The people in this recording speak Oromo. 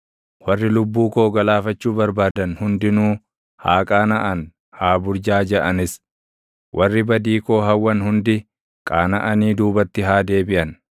Warri lubbuu koo galaafachuu barbaadan hundinuu, haa qaanaʼan; haa burjaajaʼanis; warri badii koo hawwan hundi qaanaʼanii duubatti haa deebiʼan.